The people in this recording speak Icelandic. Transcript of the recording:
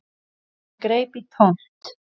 En greip í tómt.